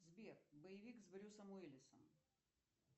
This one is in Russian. сбер боевак с брюсом уилисом